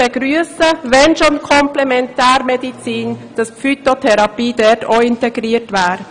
Wenn schon Komplementärmedizin, dann würden wir es begrüssen, wenn die Phytotherapie dort auch integriert wäre.